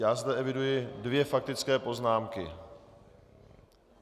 Já zde eviduji dvě faktické poznámky.